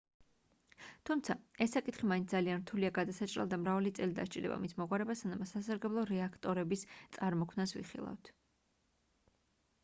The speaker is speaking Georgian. თუმცა ეს საკითხი მაინც ძალიან რთულია გადასაჭრელად და მრავალი წელი დასჭირდება მის მოგვარებას სანამ სასარგებლო რეაქტორების წარმოქმნას ვიხილავთ